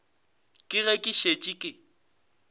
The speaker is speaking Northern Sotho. ke ge ke šetše ke